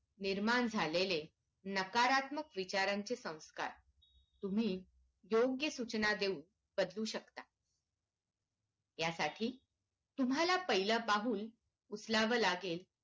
निर्माण झालेले नकारात्मक विचारांचे संस्कार तुम्ही योग्य सूचना देऊन बदलू शकता या साठी तुम्हाला पाहिलं पाऊल उचलावं लागेल